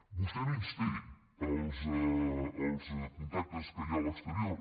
vostè menysté els contactes que hi ha a l’exterior